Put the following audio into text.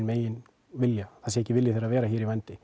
eigin vilja það sé ekki vilji þeirra að vera í vændi